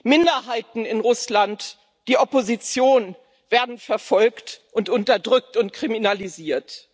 Minderheiten in Russland, die Opposition werden verfolgt, unterdrückt und kriminalisiert.